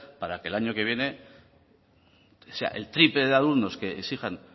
para que el año que viene sea el triple de alumnos que exijan